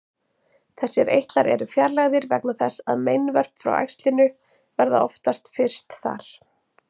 Þessir eitlar eru fjarlægðir vegna þess að meinvörp frá æxlinu verða oftast fyrst þar.